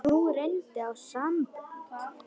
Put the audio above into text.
Nú reyndi á sambönd hennar.